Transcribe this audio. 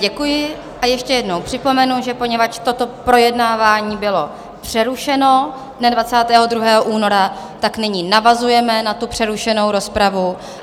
Děkuji a ještě jednou připomenu, že poněvadž toto projednávání bylo přerušeno dne 22. února, tak nyní navazujeme na tu přerušenou rozpravu.